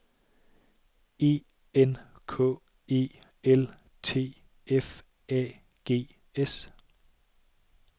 E N K E L T F A G S